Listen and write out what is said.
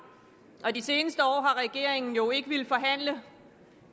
og de seneste år har regeringen jo ikke villet forhandle